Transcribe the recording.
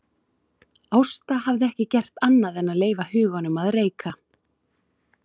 Ásta hafði ekki gert annað en að leyfa huganum að reika.